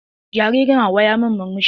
Jaririn Hauwa ya min murmushi.